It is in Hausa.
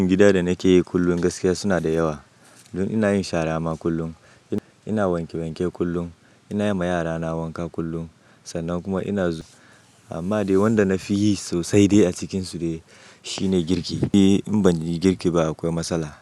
Aikin gida da nake yi kullum gaskiya suna da yawa. Don ina yin shara ma kullum, ina wanke wanke kullum, ina wanke wanke kullum ina yima yara na wanka kullum, sannan kuma ina zu-- amma dai wanda na fi yi sosai a cikinsu dai shi ne girki. Eh in ban yi girki ba akwai matsala.